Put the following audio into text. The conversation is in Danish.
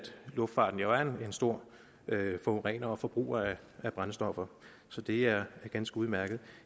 luftfarten er en stor forurener og forbruger af brændstoffer så det er ganske udmærket